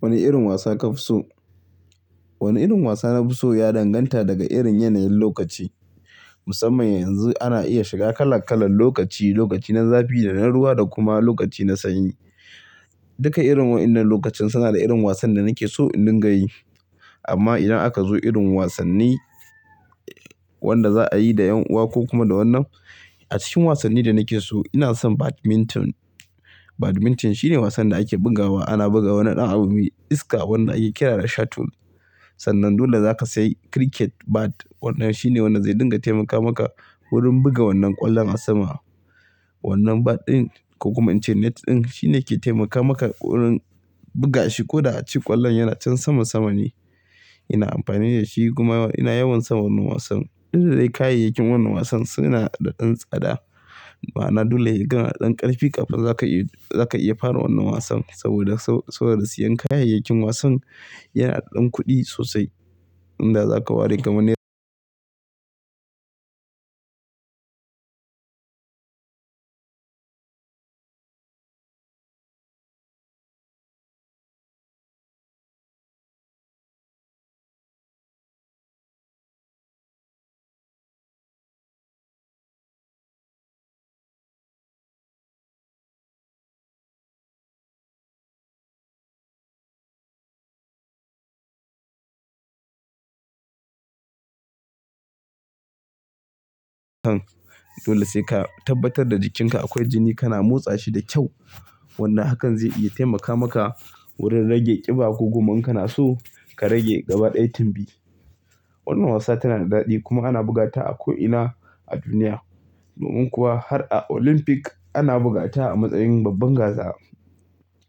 Wani irin wasa ka fi so? Wani irin wasa na fi so ya danganta daga irin yanayin lokaci. Musamman yanzu ana iya shiga kala kalan lokaci, lokaci na zafi da na ruwa da kuma lokaci na sanyi. Duka irin wa'inan lokacin suna da irin wasan da nake so in dinga yi. Amma idan aka zo irin wasanni wanda za'a yi da 'yan uwa ko kuma da wannan, a cikin wasanni da nake so ina son badminton. Badminton shine wasan da ake bugawa, ana buga wannan ɗan abu mai iska wanda ake kira da shuttle. Sannan dole zaka sayi cricket bat, wannan shine wanda zai dinga taimaka maka wurin buga wannan ƙwallon a sama. Wannan bat ɗin ko kuma in ce net ɗin shine ke taimaka maka wurin buga shi ko da a ce ƙwallon yana can sama sama ne. Ina amfani da shi kuma ina yawan son wannan wasan. Tunda dai kayayyakin wannan wasan suna da ɗan tsada. Ma'ana dole yai ga ɗan ƙarfi kafin za ka iya, za ka iya fara wannan wasan. Saboda so, saboda siyan kayayyakin wasan yana da ɗan kuɗi sosai. Inda za ka ware gamone. Dole sai ka tabbatar da jikinka akwai jini kana motsa shi da kyau. Wannan hakan zai iya taimaka maka wurin rage ƙiba ko kuma in kana so ka rage gaba ɗai tumbi. Wannan wasa tana da daɗi kuma ana bugata a ko'ina a duniya. Domin kuwa har a Olympic ana bugata a matsayin babban gasa.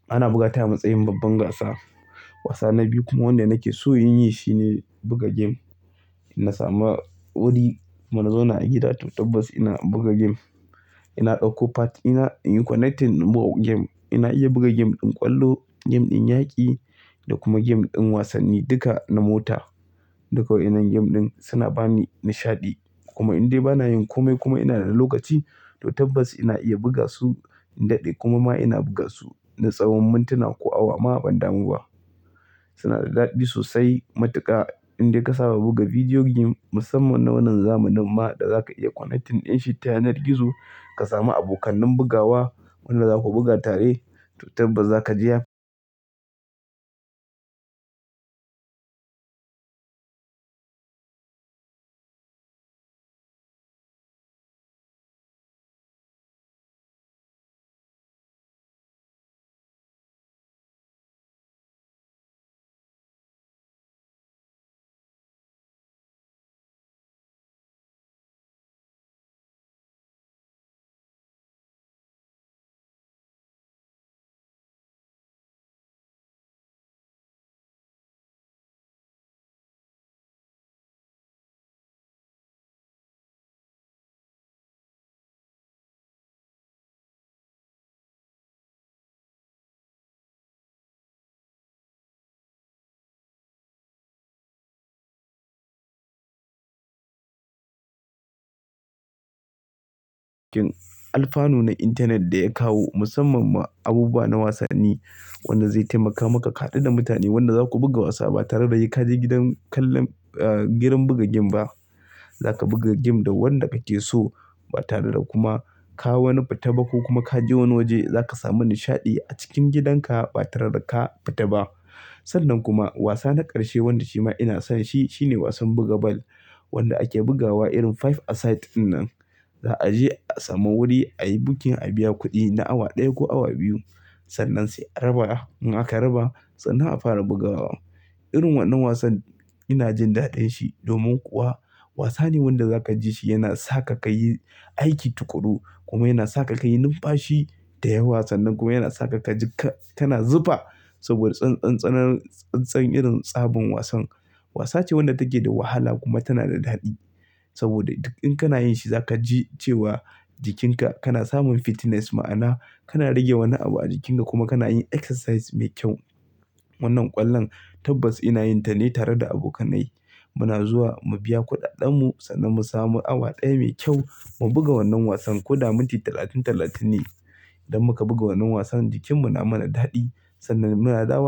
Ana bugata a matsayin babban gasa. Wasa na biyu kuma wanda nake so in yi shine buga game. In na sama wuri muna zauna a gida to tabbas ina buga game. Ina ɗauko pad, ina in yi connecting mu buga game. Ai na iya buga game ɗin ƙwallo, game ɗin yaƙi da kuma game ɗin wasanni duka na mota. Duka wa'inan game ɗin suna bani nishaɗi. Kuma in dai bana yin kome kuma ina da lokaci to tabbas ina iya buga su in daɗe kuma ma ina buga su na tsawon mintuna ko awa ma ban damu ba. Suna da daɗi sosai. Matuka in dai ka saba buga video game musamman na wannan zamanin ma da zaka iya connecting din shi ta yanar gizo ka samu abokanin bugawa wanda za ku buga tare to tabbas za ka ji ya. Alfanu na internet da ya kawo musamman ma abubuwa na wasanni wanda zai taimaka maka ka haɗu da mutane wanda za ku buga wasa ba tare da sai ka je gidan kallan, eh gidan buga game ba. Za ka buga game da wanda kake so ba tare da kuma ka wani fita ba ko kuma ka je wani waje. Za ka samu nishaɗi a cikin gidanka ba tare da ka fita ba. Sannan kuma wasa na ƙarshe wanda shi ma ina son shi shine wasan buga bal. Wanda ake bugawa irin five a side dinnan. Za a je a samu wuri, a yi booking, a biya kuɗi na awa ɗaya ko awa biyu. Sannan sai a raba. In aka raba sannan a fara bugawa. Irin wannan wasan ina jin daɗin shi domin kuwa wasa ne wanda za ka ji shi yana sa ka ka yi aiki tukuru kuma yana sa ka ka yi numfashi da yawa. San nan kuma yana sa ka ka ji ka, kana zufa saboda tsantsan, tsananin, tsantsan irin tsabin wasan. Wasa ce wanda take da wahala kuma tana da daɗi. Saboda duk in kana yin shi za ka ji cewa jikinka kana samun fitness ma'ana kana rage wani abu a jikinka kuma kana yin exercise mai kyau. Wannan ƙwallon tabbas ina yin ta ne tare da abokanai. Muna zuwa mu biya kuɗaɗen mu sannan mu samu awa ɗaya mai kyau mu buga wannan wasan ko da minti talatin, talatin ne. Idan muka buga wannan wasan jikin mu na mana daɗi sannan mu na dawa.